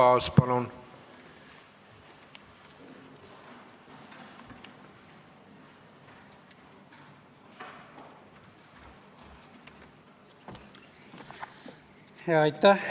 Arto Aas, palun!